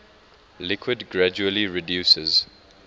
liquid gradually reduces